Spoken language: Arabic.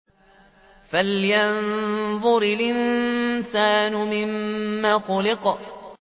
فَلْيَنظُرِ الْإِنسَانُ مِمَّ خُلِقَ